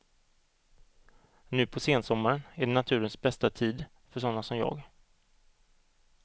Nu på sensommaren är det naturens bästa tid för såna som jag.